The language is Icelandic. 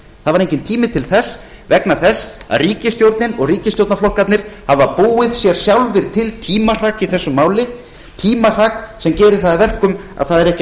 var enginn tími til þess vegna þess að ríkisstjórnin og ríkisstjórnarflokkarnir hafa sjálfir búið sér til tímahrak í þessu máli tímahrak sem gerir það að verkum að það er ekki hægt